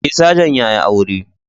Eh sajan yayi aure